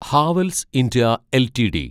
Havells India LTD